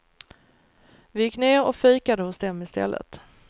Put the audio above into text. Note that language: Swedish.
Vi gick ner och fikade hos dem istället.